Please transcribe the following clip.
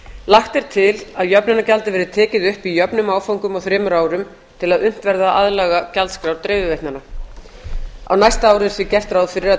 lagt er til að jöfnunargjaldið verði tekið upp í jöfnum áföngum á þremur árum til að unnt verði að aðlaga gjaldskrár dreifiveitnanna á næsta ári sé gert ráð fyrir að